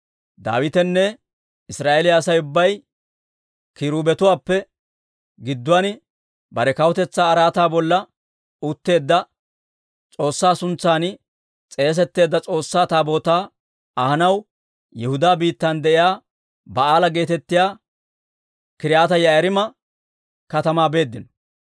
Daawitenne Israa'eeliyaa Asay ubbay kiruubetuwaappe gidduwaan bare kawutetsaa araataa bolla utteedda S'oossaa suntsan s'eesetteedda S'oossaa Taabootaa ahanaw Yihudaa biittan de'iyaa Ba'aala geetettiyaa K'iriyaati-Yi'aariima katamaa beeddino.